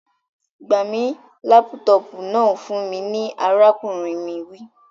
Gba mi laputopu náà fun mi ni arakunrin mi wi.